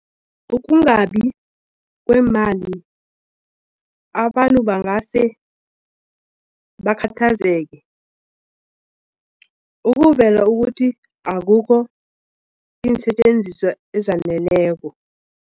Ukungabi kweemali abantu bangase bakhathazeke ukuvela ukuthi akukho iinsetjenziswa ezaneleko.